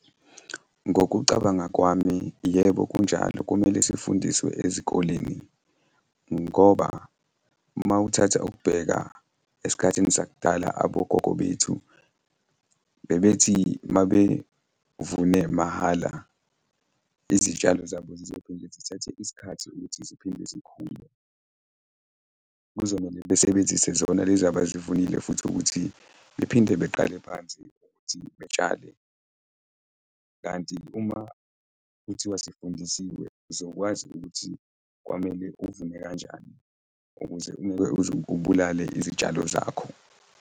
Ngokucabanga kwami, yebo, kunjalo. Kumele sifundiswe ezikoleni ngoba uma uthatha ukubheka esikhathini sakudala, abogogo bethu bebethi uma bevune mahhala izitshalo zabo zizophinde zithathe isikhathi ukuthi ziphinde zikhule. Kuzomele besebenzise zona lezi abazivunile futhi ukuthi bephinde beqale phansi futhi betshale, kanti uma kuthiwa sifundisiwe uzokwazi ukuthi kwamele uvune kanjani ukuze ungeke uze ubulale izitshalo zakho.